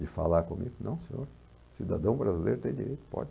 de falar comigo, não senhor, cidadão brasileiro tem direito, pode.